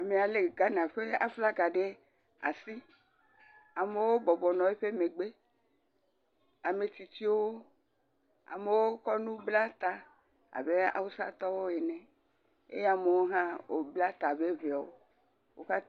Amea lé Ghana ƒe flaga ɖe asi, amewo bɔbɔnɔ eƒe megbe ame tsitsiwo, amewo kɔ nu bla ta abe awusatɔwo ene eye ame aɖewo bla ta abe Eŋeawo ene.